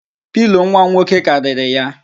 Pilo nwam nwoke karịrị ya